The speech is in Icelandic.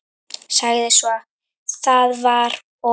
Sagði svo: Það var og